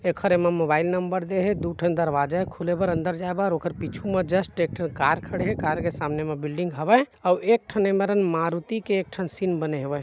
एखर एम्म mobile number देहे दुठन दरवाज़ा खुलेबर अंदर जाये बर ओखर पीछू म जस्ट एक ठन कार खड़े है कार के सामने म बिल्डिंग हवय एक ठन ए मेरन मारुती के एक ठन सिन बने हवे।